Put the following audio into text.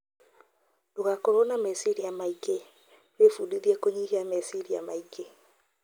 Ndũgakorwo na meciria maingĩ: Wĩbundithie kũnyihia meciria maingĩ